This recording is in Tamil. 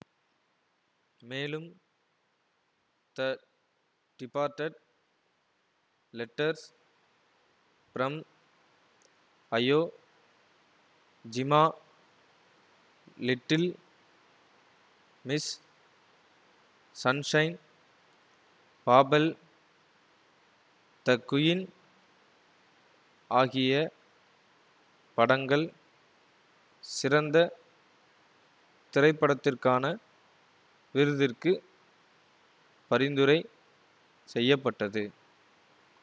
மேலும் the departed letters from Iwo Jima little Miss Sunshine Babel the Queen ஆகிய படங்கள் சிறந்த திரைப்படத்திற்கான விருதிற்கு பரிந்துரை செய்ய பட்டது